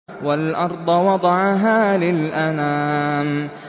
وَالْأَرْضَ وَضَعَهَا لِلْأَنَامِ